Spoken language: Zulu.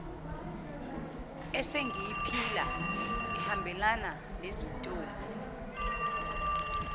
esengiyiphila ihambelana nezintombi